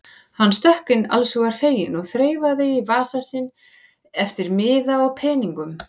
Hann stökk inn allshugar feginn og þreifaði í vasa sinn eftir miða eða peningum.